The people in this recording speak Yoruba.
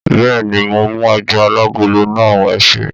Bẹ́ẹ̀ni mo mú ẹja alágolo náà, ẹṣé.